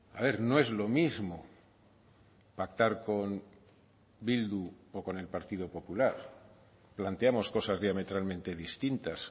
a ver no es lo mismo pactar con bildu o con el partido popular planteamos cosas diametralmente distintas